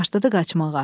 Başladı qaçmağa.